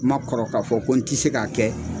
N ma kɔrɔ k'a fɔ ko n tɛ se k'a kɛ.